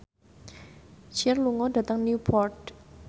Cher lunga dhateng Newport